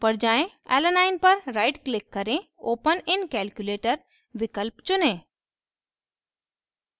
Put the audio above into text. alanine alanine पर right click करें open in calculator विकल्प चुनें